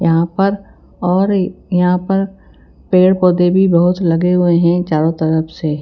यहां पर और यहां पर पेड़ पौधे भी बहुत लगे हुए हैं चारों तरफ से।